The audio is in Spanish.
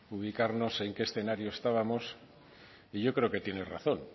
ubicarnos en qué escenario estábamos y yo creo que tiene razón